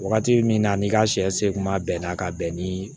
Wagati min na n'i ka sɛ se kun b'a bɛɛ na ka bɛn ni